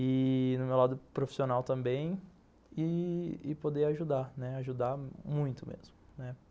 e no meu lado profissional também, e poder e poder ajudar, ajudar muito mesmo, né.